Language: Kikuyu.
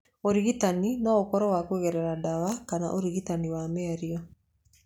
Ũrigitani no ũkorwo wa kũgerera ndawa kana ũrigitani wa mĩario.